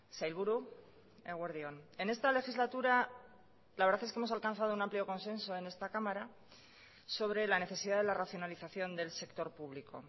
sailburu eguerdi on en esta legislatura la verdad es que hemos alcanzado un amplio consenso en esta cámara sobre la necesidad de la racionalización del sector público